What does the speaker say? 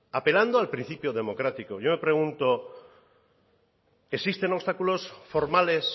apelando al principio democrático yo me pregunto existen obstáculos formales